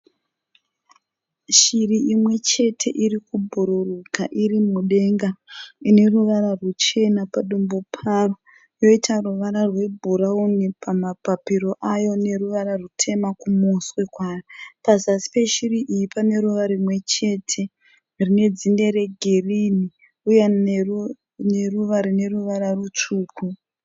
Shiri imwe chete iri kubhururuka iri mudenga ine ruvara rwuchena padumbu payo yoita ruvara rwebhurawuni pamapapiro ayo neruvara rwutema kumuswe kwayo. Pazasi peshiri iyi pane ruva rimwe chete rine dzinde regirinhi uye neruva rine ruvara rutsvuku.